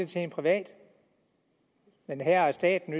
til en privat men her er staten